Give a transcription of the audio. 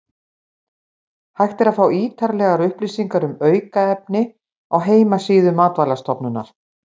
Hægt er að fá ítarlegar upplýsingar um aukefni á heimasíðu Matvælastofnunar.